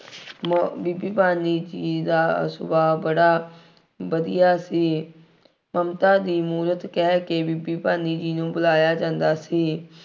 ਮ, ਬੀਬੀ ਭਾਨੀ ਜੀ ਦਾ ਸੁਭਾਅ ਬੜਾ ਵਧੀਆ ਸੀ। ਮਮਤਾ ਦੀ ਮੂਰਤ ਕਹਿ ਕੇ ਬੀਬੀ ਭਾਨੀ ਜੀ ਨੂੰ ਬੁਲਾਇਆ ਜਾਂਦਾ ਸੀ।